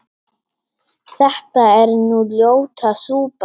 þetta er nú ljóta súpan